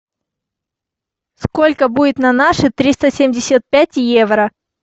сколько будет на наши триста семьдесят пять евро